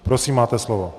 Prosím, máte slovo.